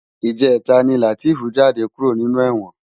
Ijètá ni Lateef jàdé kúró ninú èwòn